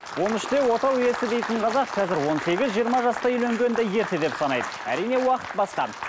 он үште отау иесі дейтін қазақ қазір он сегіз жиырма жаста үйленгенді ерте деп санайды әрине уақыт басқа